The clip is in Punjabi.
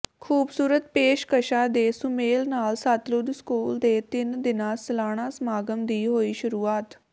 ਖ਼ੂਬਸੂਰਤ ਪੇਸ਼ਕਸ਼ਾਂ ਦੇ ਸੁਮੇਲ ਨਾਲ ਸਤਲੁਜ ਸਕੂਲ ਦੇ ਤਿੰਨ ਦਿਨਾਂ ਸਾਲਾਨਾ ਸਮਾਗਮ ਦੀ ਹੋਈ ਸ਼ੁਰੂਆਤ